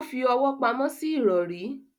o fí ọwọ pàmò sí irọri.